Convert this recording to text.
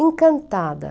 Encantada.